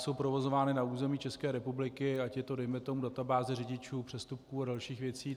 Jsou provozovány na území České republiky, ať je to dejme tomu databáze řidičů, přestupků a dalších věcí.